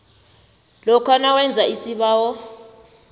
lokha nawenze isibawo